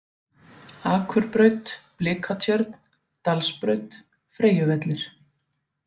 Akurbraut, Blikatjörn, Dalsbraut, Freyjuvellir